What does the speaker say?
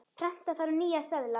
Prenta þarf nýja seðla.